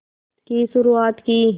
की शुरुआत की